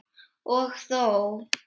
Og þó.